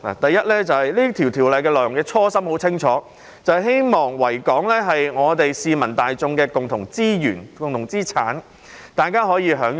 首先，訂立《條例》的初心很清楚，就是希望維多利亞港可作為市民大眾的共同資源和資產，大家可以享用。